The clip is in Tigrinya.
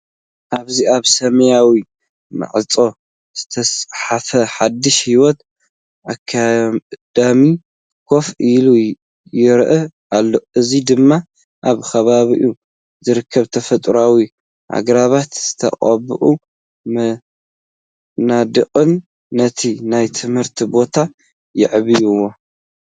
ኣብዚ ኣብ ሰማያዊ ማዕጾ ዝተጻሕፈ ‘ሓድሽ ህይወት ኣካዳሚ’፡ ኮፍ ኢሉ ይረአ ኣሎ። እዚ ድማ ኣብ ከባቢኡ ዝርከቡ ተፈጥሮኣዊ ኣግራብን ዝተቐብኡ መናድቕን ነቲ ናይ ትምህርቲ ቦታ የዕብይዎ።